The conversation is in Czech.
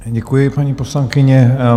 Děkuji, paní poslankyně.